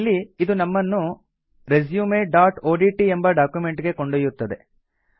ಇಲ್ಲಿ ಇದು ನಮ್ಮನ್ನು resumeಒಡಿಟಿ ಎಂಬ ಡಾಕ್ಯುಮೆಂಟ್ ಗೆ ಕೊಂಡೊಯ್ಯುತ್ತದೆ